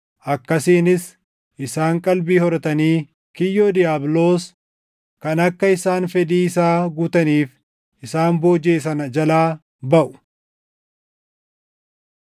akkasiinis isaan qalbii horatanii kiyyoo diiyaabiloos kan akka isaan fedhii isaa guutaniif isaan boojiʼe sana jalaa baʼu.